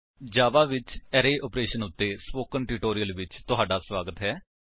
ਜਾਵਾ ਵਿੱਚ array operation ਉੱਤੇ spoken tutorial ਵਿੱਚ ਤੁਹਾਡਾ ਸਵਾਗਤ ਹੈ